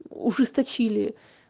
ужесточили